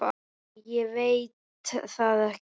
Nei ég veit það ekki.